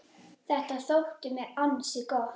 Þetta þótti mér ansi gott.